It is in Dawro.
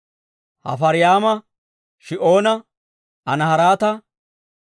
Hafaraymma, Shi'oona, Anaharaata,